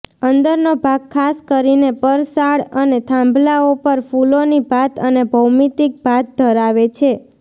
અંદરનો ભાગ ખાસ કરીને પરસાળ અને થાંભલાઓ પર ફૂલોની ભાત અને ભૌમિતિક ભાત ધરાવે છે